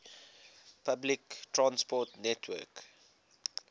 public transport network